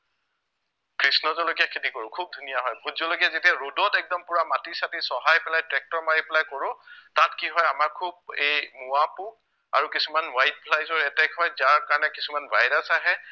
কৃষ্ণ জলকীয়া খেতি কৰো খুউব ধুনীয়া হয়, ভোট জলকীয়া যেতিয়া ৰ'দত একদম পোৰা মাটি চাটি চহাই পেলাই ট্ৰেক্টৰ মাৰি পেলাই কৰো তাত কিহয় আমাৰ খুউব এই মোৱা পোক আৰু কিছুমান white flies ৰ attack হয় যাৰ কাৰণে কিছুমান ভাইৰাছ আহে